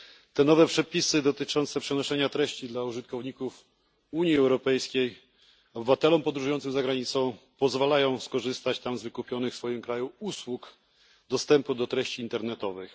Te nowe przepisy dotyczące przenoszenia treści dla użytkowników Unii Europejskiej pozwalają obywatelom podróżującym za granicę skorzystać tam z wykupionych w swoim kraju usług dostępu do treści internetowych.